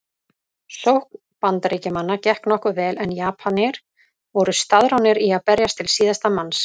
Sókn Bandaríkjamanna gekk nokkuð vel en Japanir voru staðráðnir í að berjast til síðasta manns.